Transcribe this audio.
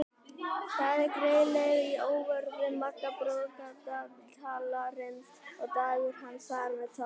Þá er greið leið að óvörðum maga broddgaltarins og dagar hans þar með taldir.